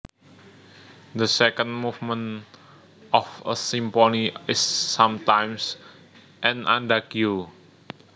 The second movement of a symphony is sometimes an adagio